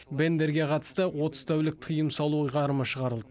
бендерге қатысты отыз тәулік тыйым салу ұйғарымы шығарылды